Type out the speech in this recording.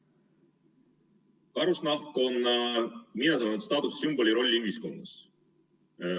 Karusnahk on minetanud oma staatuse ja sümboli rolli ühiskonnas.